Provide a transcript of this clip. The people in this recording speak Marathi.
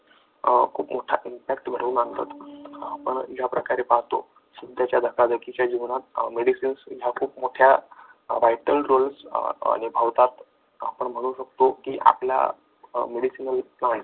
खूप मोठा impact घडून आणतात आपण ज्या प्रकारे पाहतो सध्याच्या धकाधकीच्या जीवनात medicines ह्या खूप मोठ्या वाईटल रोल निभवतात आपण म्हणू शकतो की आपल्या medicinal किंवा